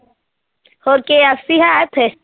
ਹੋਰ KFC ਹੈ ਇੱਥੇ?